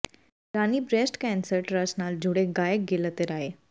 ਰਾਣੀ breast cancer trust ਨਾਲ ਜੁਡ਼ੇ ਗਾਇਕ ਗਿੱਲ ਅਤੇ ਰਾਏ